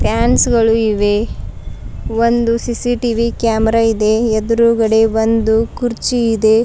Fans ಗಳು ಇವೆ ಒಂದು ಸಿ_ಸಿ_ಟಿ_ವಿ ಕ್ಯಾಮೆರಾ ಇದೆ ಎದ್ರುಗಡೆ ಒಂದು ಕುರ್ಚಿ ಇದೆ.